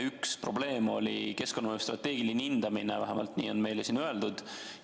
Üks probleem on olnud keskkonnamõju strateegiline hindamine, vähemalt nii on meile siin öeldud.